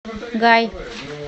гай